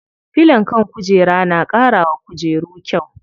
Filon kan kujera na ƙara wa kujeru kyau.